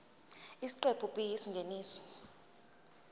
isiqephu b isingeniso